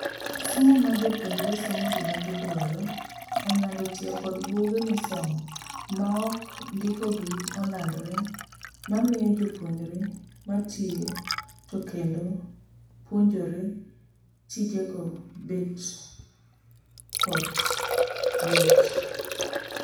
Somo ma jopuonjre somo gima giduaro onyuando tiyo kod buge misomo maok ndikogi olandre mamiyo jopuonjre matiyo to kendo puonjre tijego bet kot yot.